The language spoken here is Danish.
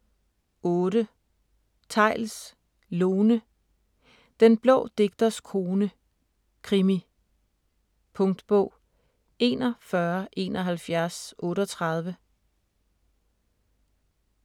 8. Theils, Lone: Den blå digters kone: krimi Punktbog 417138